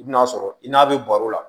I bɛn'a sɔrɔ i n'a bɛ baro la